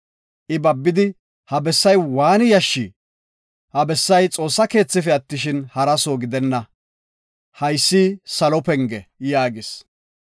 I babidi, “Ha bessay waani yashshi! Ha bessay Xoossa keethife attishin, haraso gidenna. Haysi salo penge” yaagis.